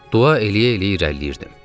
Dua eləyə-eləyə irəliləyirdim.